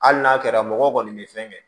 Hali n'a kɛra mɔgɔw kɔni bɛ fɛn kɛ